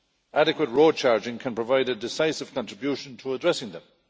Adequate road charging can provide a decisive contribution to addressing them.